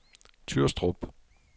Tyrstrup